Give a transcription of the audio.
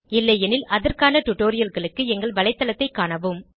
இல்லையெனில் அதற்கான டுடோரியல்களுக்கு எங்கள் வலைத்தளத்தைக் காணவும்